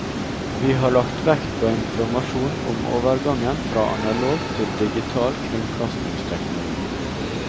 Vi har lagt vekt på informasjon om overgangen fra analog til digital kringkastingsteknologi.